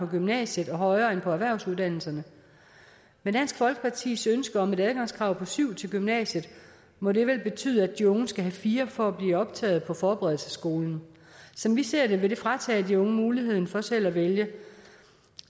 gymnasiet og højere end til erhvervsuddannelserne med dansk folkepartis ønske om et adgangskrav på syv til gymnasiet må det vel betyde at de unge skal have fire for at blive optaget på forberedelsesskolen som vi ser det vil det fratage de unge muligheden for selv at vælge